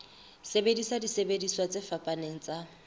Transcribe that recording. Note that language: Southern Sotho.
sebedisa disebediswa tse fapaneng tsa